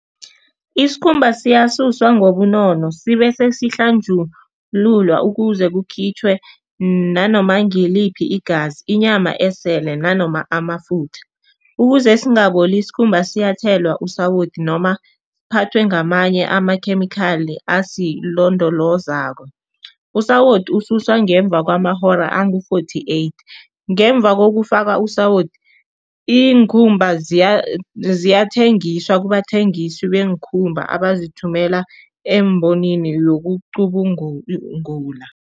Isikhumba siyasuswa ngobunono sibese sihlanjululwa ukuze kukhitjhwe nanoma ngiliphi igazi, inyama esele nanoma amafutha. Ukuze singaboli, isikhumba siyathelwa usawoti noma siphathwe ngamanye amakhemikhali asilondolozako. Usawoti ususwa ngemva kwamahora angu-fourty eight. Ngemva kokufaka usawoti, iinkhumba ziyathengiswa kubathengisi beenkhumba abazithumela eembonweni